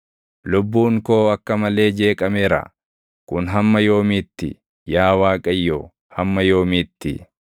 Lubbuun koo akka malee jeeqameera; kun hamma yoomiitti? Yaa Waaqayyo, hamma yoomiitti?